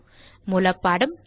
தமிழாக்கம் பிரியா